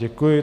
Děkuji.